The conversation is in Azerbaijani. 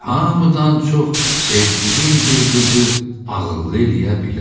Hamıdan çox sevdiyim bir qızı ağıllı eləyə bilərəm.